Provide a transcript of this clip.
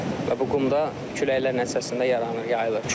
Və bu qum da küləklər nəticəsində yaranır, yayılır.